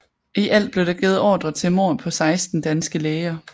I alt blev der givet ordrer til mord på 16 danske læger